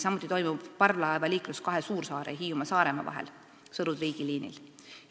Samuti toimub parvlaevaliiklus kahe suursaare, Hiiumaa ja Saaremaa vahel Sõru–Triigi liinil.